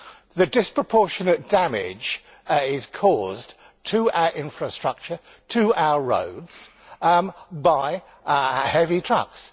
The disproportionate damage is being caused to our infrastructure, to our roads, by heavy trucks.